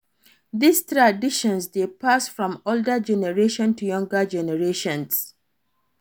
These traditions de pass from older generations to younger generations